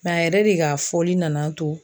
Mɛ a yɛrɛ de ka fɔli nan'a to